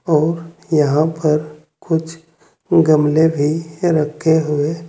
और यहां पर कुछ गमले भी रखे हुए--